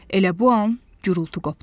Elə bu an gurultu qopdu.